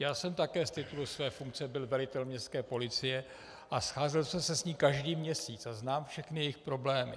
Já jsem také z titulu své funkce byl velitel městské policie a scházel jsem se s ní každý měsíc a znám všechny jejich problémy.